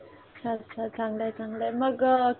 अच्छा अच्छा चांगलंय मग कधी